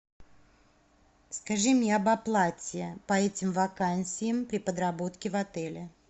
скажи мне об оплате по этим вакансиям при подработке в отеле